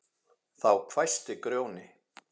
Þá hvæsti Grjóni